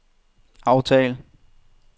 aftal